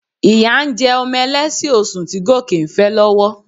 Ìyá ń jẹ ọmọ ẹlẹ́sẹ̀ osùn tí Gòkè ń fẹ́ lọ́wọ́